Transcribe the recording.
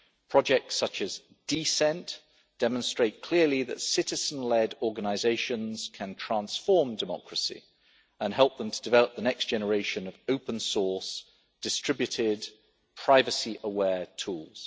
Projects such as D CENT demonstrate clearly that citizen led organisations can transform democracy and help them to develop the next generation of open source, distributed, privacy aware tools.